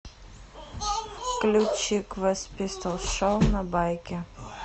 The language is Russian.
включи квест пистолс шоу на байке